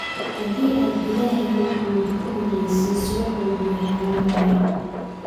Haddii aad Illahay wax walba ka horraysiiso wax walba way hagaagayaan